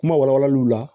Kuma walawalaliw la